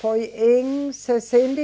Foi em sessenta